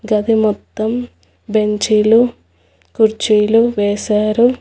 గది మొత్తం బెంచీలు కుర్చీలు వేశారు.